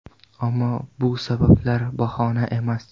Ammo bu sabablar bahona emas.